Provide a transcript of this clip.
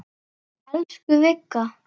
Elsku Vigga.